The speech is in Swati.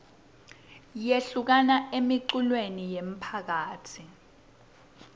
yekuhlangana emiculweni yemphakatsi